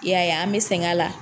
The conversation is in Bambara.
I y'a ye an bɛ sɛgɛn a la